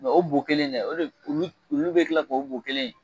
Mɛ o boo kelen in dɛ o de be olu olu be kila k'o boo kelen in